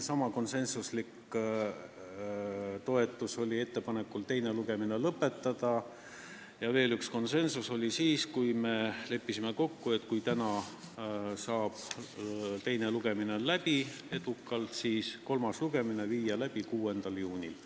Samasugune toetus oli ettepanekule teine lugemine lõpetada ja veel ühe konsensuse saavutasime siis, kui leppisime kokku, et kui täna saab teine lugemine edukalt läbi, siis võiks kolmanda lugemise teha 6. juunil.